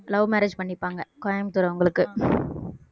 love marriage பண்ணிப்பாங்க கோயம்புத்தூர் அவங்களுக்கு